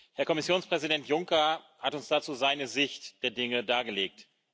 Herr Kommissionspräsident Juncker hat uns dazu seine Sicht der Dinge dargelegt.